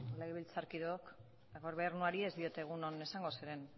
legebiltzarkideok gobernuari ez diot egun on esango zeren